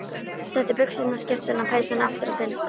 Setti buxurnar, skyrtuna og peysuna aftur á sinn stað.